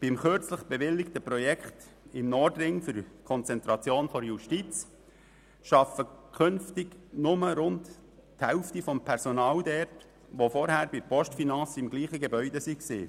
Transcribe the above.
Beim kürzlich bewilligten Projekt zur Konzentration der Justiz im Nordring arbeitet künftig nur die Hälfte des Personals dort, welches zuvor bei der Postfinance in demselben Gebäude tätig war.